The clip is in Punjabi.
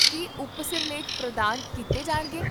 ਕੀ ਉਪਸਿਰਲੇਖ ਪ੍ਰਦਾਨ ਕੀਤੇ ਜਾਣਗੇ?